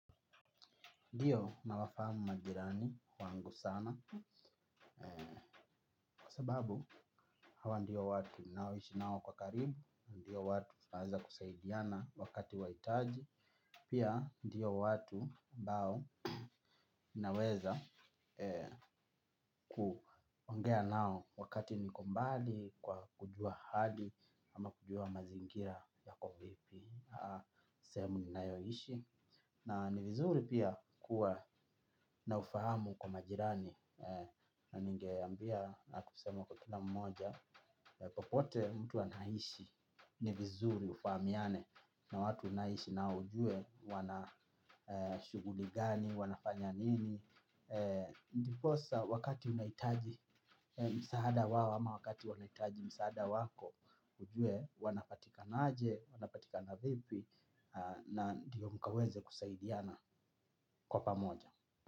Ndiyo na wafahamu majirani wangu sana. Kwa sababu hawa ndio watu ninaoishi nao kwa karibu. Ndio watu tunaweza kusaidiana wakati wa itaji. Pia ndio watu ambao naweza kuongea nao wakati niko mbali. Kwa kujua hali ama kujua mazingira yako vipi. Sehemu ninayo ishi na ni vizuri pia kuwa na ufahamu kwa majirani na ninge ambia na kusema kwa kila mmoja. Popote mtu anaishi ni vizuri ufahamiane na watu uanaishi nao ujue wana shuguli gani, wanafanya nini. Ndiposa wakati unahitaji msaada wao ama wakati wanahutaji msaada wako ujue wanapatikanaje, wanapatikana vipi. Na ndiyo mkaweze kusaidiana kwa pa moja.